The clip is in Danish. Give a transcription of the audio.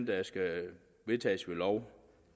der skal vedtages ved lov